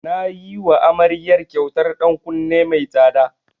Na yiwa amaryar kyautar ɗan kunne mai tsada.